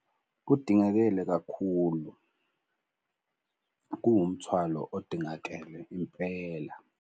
Kudingakele kakhulu, kuwumthwalo odingakele impela.